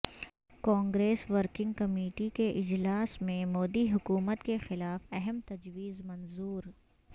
Congress working committee کے اجلاس میں مودی حکومت کے خلاف اہم تجویز منظور